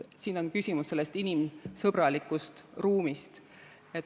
Siin on küsimus inimsõbralikust ruumist.